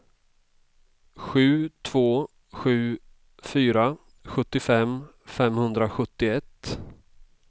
sju två sju fyra sjuttiofem femhundrasjuttioett